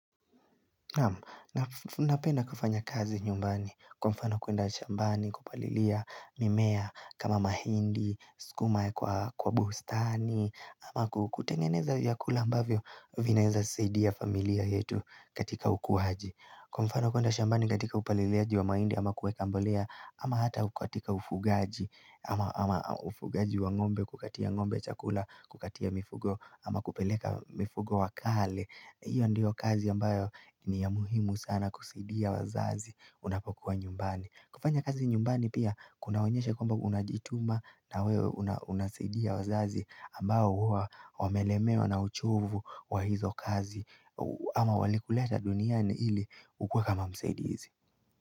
Nam napenda kufanya kazi nyumbani kwa mfano kuenda shambani kupalilia mimea kama mahindi, skuma kwa bustani ama kutengeneza yakulambavyo vinaeza sidiya familia yetu katika ukuhaji. Kwa mfano kuenda shambani katika upalilieaji wa maindi ama kuweka mbolea ama hata kuatika ufugaji ama ufugaji wa ngombe kukatia ngombe chakula kukatia mifugo ama kupeleka mifugo wakale. Iyo ndiyo kazi ambayo ni ya muhimu sana kusidia wazazi unapokuwa nyumbani. Kufanya kazi nyumbani pia kuna wonyesha kwamba unajituma na weo unasidia wazazi ambayo uwa wamelemeo na uchovu wa hizo kazi. Ama walikuleta duniani ili ukwe kama msaidihizi.